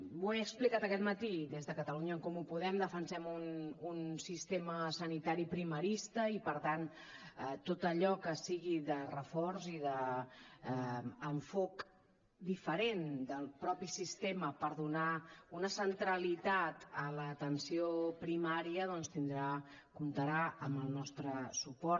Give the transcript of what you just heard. ho he explicat aquest matí des de catalunya en comú podem defensem un sistema sanitari primerista i per tant tot allò que sigui de reforç i d’enfocament diferent del mateix sistema per donar una centralitat a l’atenció primària doncs tindrà comptarà amb el nostre suport